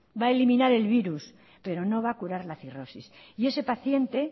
va a eliminar el virus pero no va a curar la cirrosis y ese paciente